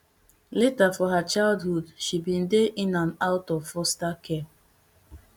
later for her childhood she bin dey in and out of foster care